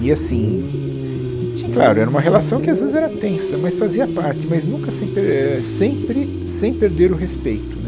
E assim, e tinha claro, era uma relação que às vezes era tensa, mas fazia parte, mas nunca sem pe eh sempre sem perder o respeito né.